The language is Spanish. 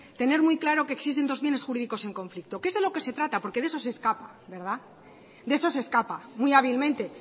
tener muy claro que existen dos bienes jurídicos en conflicto que es de lo que se trata porque de eso se escapa de eso se escapa muy hábilmente